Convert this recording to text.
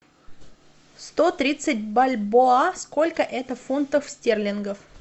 сто тридцать бальбоа сколько это фунтов стерлингов